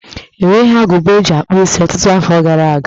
E nweghi agụba eji akpụ isi ọtụtụ afọ gara aga.